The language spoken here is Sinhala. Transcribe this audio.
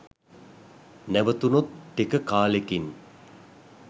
නැවතුනොත් ටික කාලෙකින්